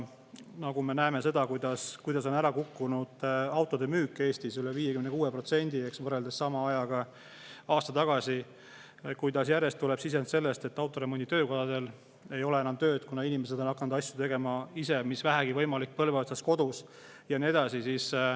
Aga me näeme seda, kuidas on ära kukkunud autode müük Eestis – üle 56% –, võrreldes sama ajaga aasta tagasi; kuidas järjest tuleb sisendit sellest, et autoremonditöökodadel ei ole enam tööd, kuna inimesed on hakanud ise tegema asju, mis vähegi võimalik, põlve otsas kodus, ja nii edasi.